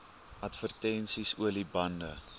advertensies olie bande